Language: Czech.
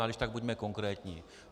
A když tak buďme konkrétní.